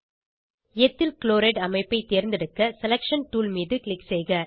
ethyl chloride அமைப்பை தேர்ந்தெடுக்க selection tool மீது க்ளிக் செய்க